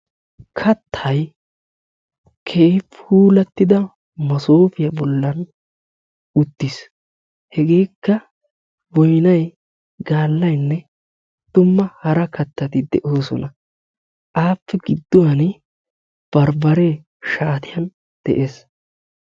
Kattay keehi puulatida maasofiya bollan uttiis. Hegeka boynnay, gaallayne dumma hara kattati deosona. Appe gidduwan barbaare gidduwan de'ees.